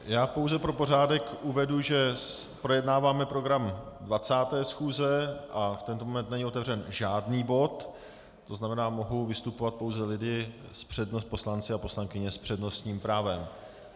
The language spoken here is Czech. Já pouze pro pořádek uvedu, že projednáváme program 20. schůze a v tento moment není otevřen žádný bod, to znamená, mohou vystupovat pouze lidé, poslanci a poslankyně, s přednostním právem.